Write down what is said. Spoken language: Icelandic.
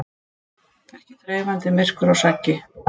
Ekki þreifandi myrkur og saggi.